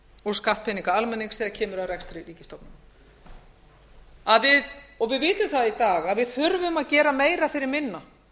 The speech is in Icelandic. og skattpeningar almennings þegar kemur að rekstri ríkisstofnana við vitum það í dag að við þurfum að gera meira fyrir minna